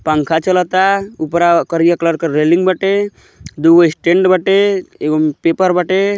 पंखा चलता ऊपरा करिया कलर क रेलिंग बाटे दुगो स्टैंड बाटे एक पेपर बाटे।